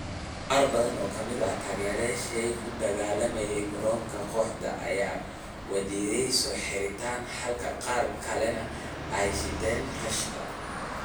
Qaar badan oo ka mid ah taageerayaashii ku dagaalamay garoonka kooxda ayaa wajiyada soo xirtay, halka qaar kalena ay shideen rashka.